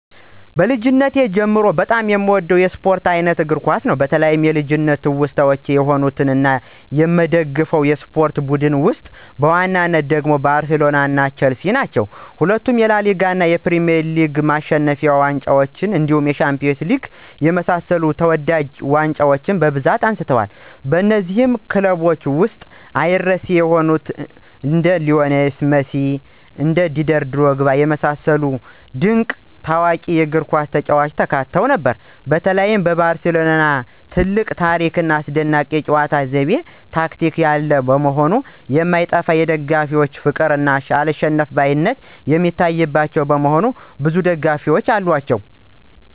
ከልጅነቴ ጀምሮ በጣም የምወደው የስፖርት አይነት እግር ኳስ ነው። በተለይ የልጅነት ትውስታዎች የሆኑት እና የምደግፈው የስፖርት ቡድን ውስጥ በዋናነት ደግሞ ባርሴሎና ቸልሲ ነው። ሁለቱም የላሊጋ እና የፕሪሚየር ሊግ ማሸነፊያዎችን ጨምሮ እንደ ሻምፒዮንስ ሊግ የመሳሰሉ ተወዳጅ ዋንጫዎችን በብዛት አንስተዋል። በነዚህም ክለቦች ውስጥ አይረሴ የሆኑ እንደ ሊዎኔል ሜሲ እና ዲዴር ድሮግባ የመሰሉ ድንቅ እና ታዋቂ የእግርኳስ ተጫዋቾች ተካተው ነበር። በተለይ ባርሴሎና ትልቅ ታሪክ ና አስደናቂ የጨዋታ ዘይቤ (ቴክኒክ) ያለው መሆኑ የማይጠፋ የደጋፊዎች ፍቅር እና አልሸነፍባይነት የሚታይባቸው በመሆኑ ብዙ ደጋፊዎች አሏቸው።